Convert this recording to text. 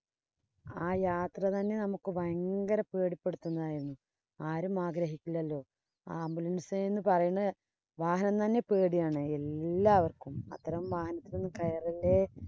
ആ യാത്ര തന്നെ നമുക്ക് ഭയങ്കര പേടിപ്പെടുത്തുന്നതായിരുന്നു. ആരും ആഗ്രഹിക്കില്ലല്ലോ ambulance എന്ന് പറയുന്നത് വാഹനം തന്നെ പേടിയാണ് എല്ലാവര്‍ക്കും. അത്തരം വാഹനത്തില്‍ കയറല്ലേ